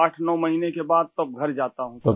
8 9 مہینوں کے بعد تب گھر جاتا ہوں